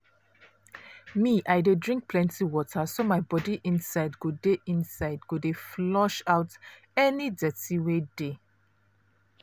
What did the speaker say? me i dey drink plenty water so my body inside go dey inside go dey flush out any dirty wey dey.